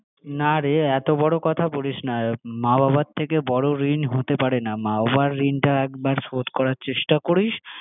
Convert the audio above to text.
না রে এতো বড়ো কথা বলিস না মা বাবার থেকে বড়ো ঋণ হতে পারে না, মা বাবার ঋণটা শোধ করার চেষ্টা করিস